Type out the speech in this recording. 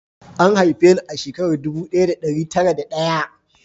An haife ni a shekara ɗubu ɗaya da ɗari tara da ɗaya